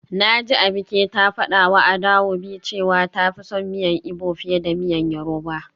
Naji Abike ta fadawa Adaobi cewa ta fi son miyan igbo fiye da miyan yoruba.